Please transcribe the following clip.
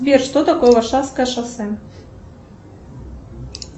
сбер что такое варшавское шоссе